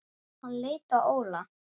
Hann leit á Óla.